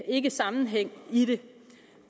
ikke sammenhæng i det